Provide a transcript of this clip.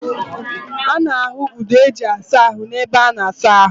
A na-ahu udu eji asa ahu n'ebe a na-asa ahu.